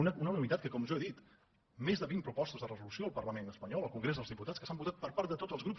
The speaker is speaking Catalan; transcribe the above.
una unanimitat que com jo he dit més de vint propostes de resolució al parlament espanyol al congrés dels diputats que s’han votat per part de tots els grups